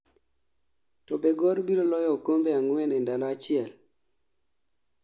to be gor biro loyo okombe ang'wen e ndalo achiel?